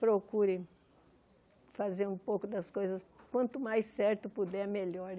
procure fazer um pouco das coisas, quanto mais certo puder, melhor.